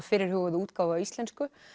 fyrirhuguðu útgáfu á íslensku